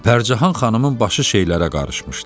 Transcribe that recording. Pərcahan xanımın başı şeylərə qarışmışdı.